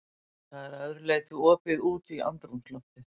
Það er að öðru leyti opið út í andrúmsloftið.